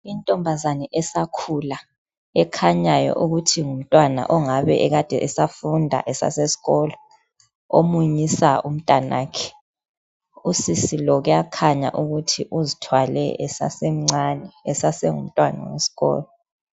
Intombazana esakhula ekhanyayo ukuthi ngumntwana ongabe ekade esafunda esase eskolo omunyisa umntanakhe usisi lo kuyakhanya ukuthi uzithwale esasemncane esasengumntwana wesikolo.